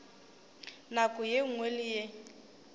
nako ye nngwe le ye